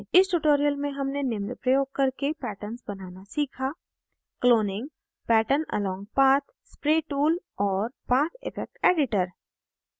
इस tutorial में हमने निम्न प्रयोग करके patterns बनाना सीखा